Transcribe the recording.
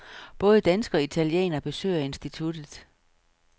Både danskere og italienere besøger instituttet.